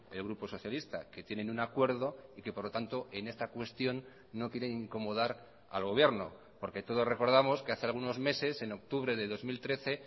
el grupo socialista que tienen un acuerdo y que por lo tanto en esta cuestión no quieren incomodar al gobierno porque todos recordamos que hace algunos meses en octubre de dos mil trece